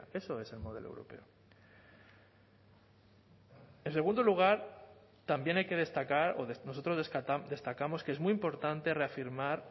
eso es el modelo europeo en segundo lugar también hay que destacar o nosotros destacamos que es muy importante reafirmar